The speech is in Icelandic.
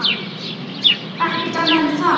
Ekkert annað en það?